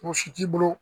Mɔgɔ si t'i bolo